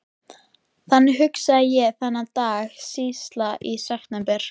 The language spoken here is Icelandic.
Þannig hugsaði ég þennan dag síðla í september.